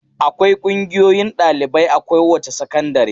Akwai ƙungiyoyin ɗalibai a kowace sakandare.